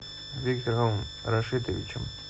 виктором рашитовичем